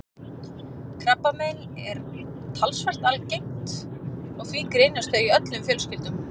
Krabbamein eru talsvert algeng og því greinast þau í öllum fjölskyldum.